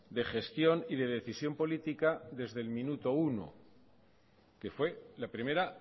de gestión y de decisión política desde el minuto uno que fue la primera